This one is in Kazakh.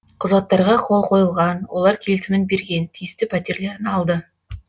құжаттарға қол қойылған олар келісімін берген тиісті пәтерлерін алды